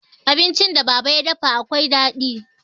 Abincin da baba ya dafa akwai daɗi.